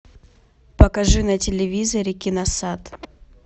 покажи на телевизоре киносад